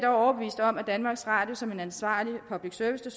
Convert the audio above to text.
overbevist om at danmarks radio som en ansvarlig public service